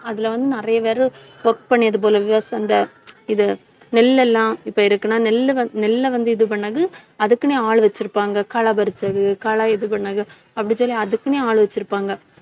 அதிலே வந்து நிறைய பேரு work பண்ணியது போல விவசா~ அந்த இது, நெல் எல்லாம் இப்போ இருக்குன்னா நெல்~ நெல்லை வந்து இது பண்ணது அதுக்குனே ஆள் வச்சிருப்பாங்க களை பறிச்சது களை இது பன்றத்துக்கு அப்படி சொல்லி அதுக்குன்னே ஆள் வச்சிருப்பாங்க.